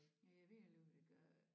Ja jeg ved heller ikke hvad de ville gøre